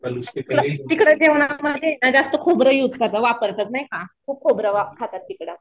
तिकडं जेवणात म्हणजे जास्त खोबर युज करतात खूप खोबरं खातात तिकडं.